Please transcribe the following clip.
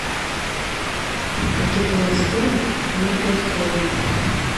пакет лейс с сыром ноль пять колы